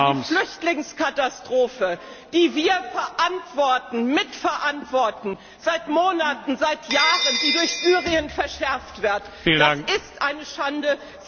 Aber die Flüchtlingskatastrophe, die wir verantworten, mitverantworten seit Monaten, seit Jahren die durch Syrien verschärft wird, das ist eine Schande!